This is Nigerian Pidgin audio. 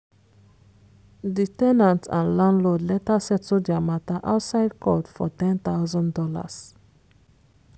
di ten ant and landlord later settle dia mata outside court for ten thousand dollars